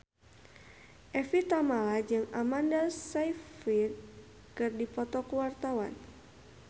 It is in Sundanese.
Evie Tamala jeung Amanda Sayfried keur dipoto ku wartawan